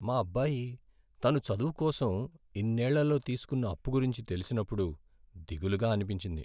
మా అబ్బాయి తన చదువు కోసం ఇన్నేళ్ళలో తీసుకున్న అప్పు గురించి తెలిసినప్పుడు దిగులుగా అనిపించింది.